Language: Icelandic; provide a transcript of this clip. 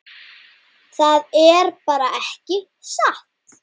Það er bara ekki satt.